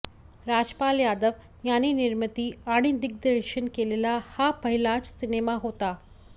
राजपाल यादव यांनी निर्मिती आणि दिग्दर्शन केलेला हा पहिलाच सिनेमा होता